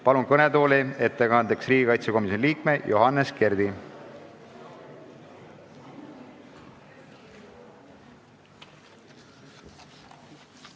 Palun ettekandeks kõnetooli riigikaitsekomisjoni liikme Johannes Kerdi!